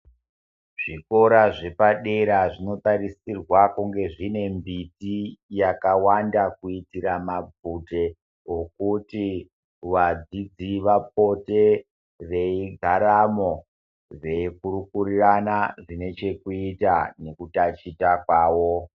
Zvikora zvepadera zvinotarisirwa kunge zvine mbiti yakawanda kuitira mabvute okuti wadzidzi vapote veigaramo veikurukurirana zvine chekuita nekutachita kwawo .